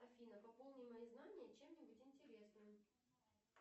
афина пополни мои знания чем нибудь интересным